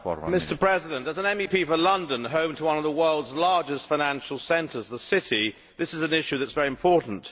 Mr President, as an MEP for London, home to one of the world's largest financial centres, the City, this is an issue that is very important.